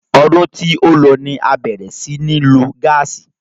Ọdún tí ó lọ ni a bẹ̀rẹ̀ sí í ní lo gáàsì.